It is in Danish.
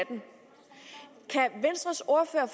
venstres ordfører